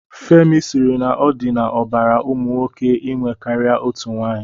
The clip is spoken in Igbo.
Femi sịrị na ọ dị n'ọbara ụmụ nwoke inwe karịa otu nwaanyị.